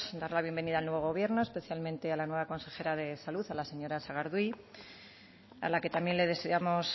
dar la bienvenida al nuevo gobierno especialmente a la nueva consejera de salud a la señora sagardui a la que también le deseamos